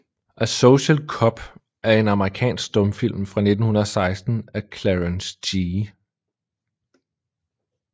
A Social Cub er en amerikansk stumfilm fra 1916 af Clarence G